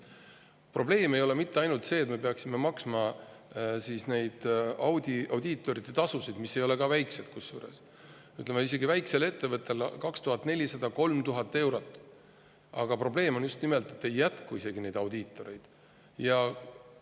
Probleem ei ole mitte ainult see, et me peaksime maksma audiitorite tasusid – kusjuures need ei ole ka väikesed, isegi väikese ettevõtte puhul on summa 2400–3000 eurot –, vaid probleem on just nimelt see, et audiitoreid ei jätku.